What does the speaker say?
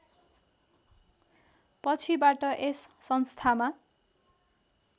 पछिबाट यस संस्थामा